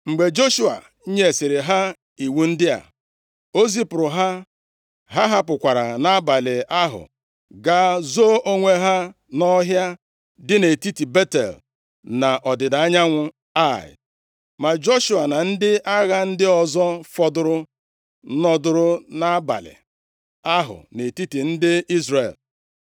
Mgbe Joshua nyesịrị ha iwu ndị a, o zipụrụ ha. Ha hapụkwara nʼabalị ahụ gaa zoo onwe ha nʼọhịa dị nʼetiti Betel na ọdịda anyanwụ Ai. Ma Joshua na ndị agha ndị ọzọ fọdụrụ nọdụrụ nʼabalị ahụ nʼetiti ndị Izrel.